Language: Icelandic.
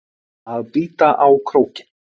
Að bíta á krókinn